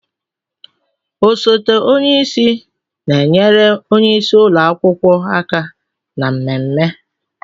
Osote onye isi na-enyere onye isi ụlọ akwụkwọ aka na mmemme.